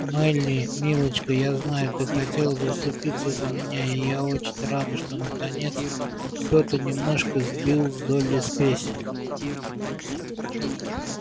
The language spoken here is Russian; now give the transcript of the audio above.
мелли милочка я знаю ты хотела заступиться за меня и я очень рада что наконец кто-то немножко сбил с долли спесь